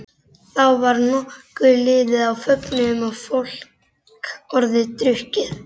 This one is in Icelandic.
Þá var nokkuð liðið á fögnuðinn og fólk orðið drukkið.